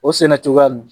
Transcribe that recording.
O sɛnɛ cogoya